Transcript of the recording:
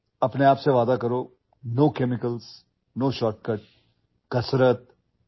म्हणून नव्या वर्षात स्वतःला वचन द्या रसायने वापरायची नाहीतशॉर्टकट्स वापरायचे नाहीत